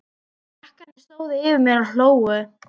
Krakkarnir stóðu yfir mér og hlógu.